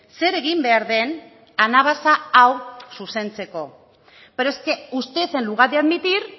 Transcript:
zer egin behar den anabasa hau zuzentzeko pero es que usted en lugar de admitir